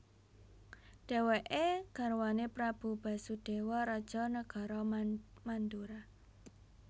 Dhèwèké garwané Prabu Basudéwa raja nagara Mandura